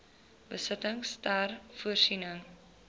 besittings ter voorsiening